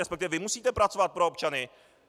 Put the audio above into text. Respektive vy musíte pracovat pro občany.